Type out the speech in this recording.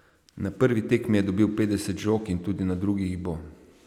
Na prvi tekmi je dobil petdeset žog in tudi na drugi jih bo.